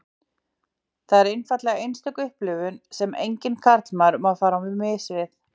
Það er einfaldlega einstök upplifun sem enginn karlmaður má fara á mis við.